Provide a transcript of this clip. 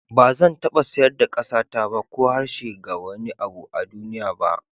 Ba zan taba sayar da ƙasata ko harshe ga wani abu a duniya ba.